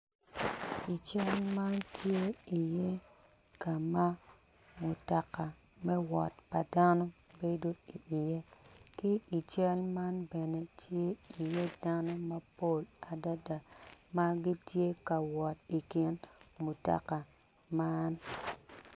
I cal man tye ka ma mutoka me wot pa dano bedo iye ki i cal man bene tye iye danno mapol adada ma gitye ka wot i kin mutoka man.